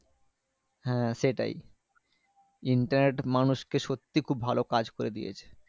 হ্যাঁ সেটাই internet মানুষ কে সত্যি খুব ভালো কাজ করে দিয়েছে।